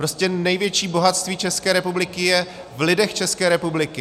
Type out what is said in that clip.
Prostě největší bohatství České republiky je v lidech České republiky.